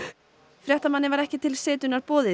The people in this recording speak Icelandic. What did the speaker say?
fréttamanni var ekki til setunnar boðið